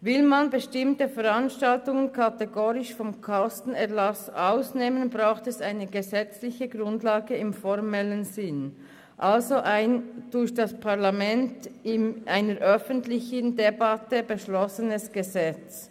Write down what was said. Will man bestimmte Veranstaltungen kategorisch vom Kostenerlass ausnehmen, braucht es eine gesetzliche Grundlage im formellen Sinn, also ein durch das Parlament in einer öffentlichen Debatte beschlossenes Gesetz.